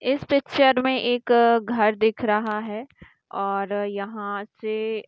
इस पिक्चर में एक घर दिख रहा है और यहाँ से --